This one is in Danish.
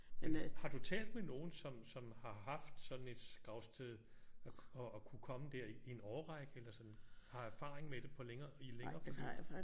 Har du talt med nogen som som har haft sådan et gravsted og har kunnet komme der i en årrække eller sådan har erfaring med det på længere i længere tid?